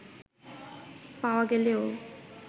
পাওয়া গেলেও